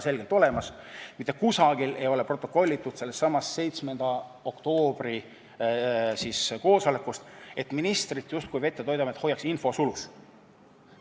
Sellesama 7. oktoobri koosoleku protokollis ei ole kuskil kirjas, justkui Veterinaar- ja Toiduamet hoiaks ministrit infosulus.